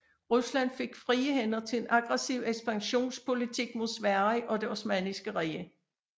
Rusland fik frie hænder til en aggressiv ekspansionspolitik mod Sverige og Det Osmanniske Rige